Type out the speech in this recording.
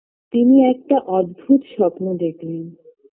তিনি একটা অদ্ভুত স্বপ্ন দেখলেন